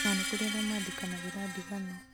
na nĩ kũrĩ arĩa maandĩkanagĩra ndigano